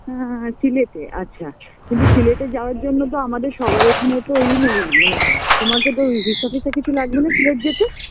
হ্যাঁ সিলেটে আচ্ছা আচ্ছা কিন্তু সিলেটে যাওয়ার জন্য তো আমাদের সবার এখানে তো এই নেই মানে তোমাকে তো visa ফিসা কিছু লাগবে না সিলেট যেতে